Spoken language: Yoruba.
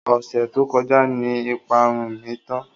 Ọ̀sẹ̀ tó kọjá ni ìparun mi tán.